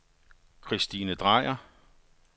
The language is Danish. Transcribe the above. Kristine Drejer